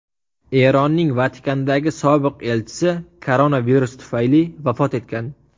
Eronning Vatikandagi sobiq elchisi koronavirus tufayli vafot etgan .